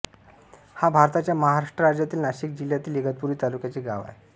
हा भारताच्या महाराष्ट्र राज्यातील नाशिक जिल्ह्यातील इगतपुरी तालुक्याचे गाव आहे